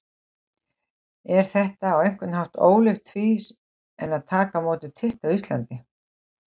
Er þetta á einhvern hátt ólíkt því en að taka á móti titli á Íslandi?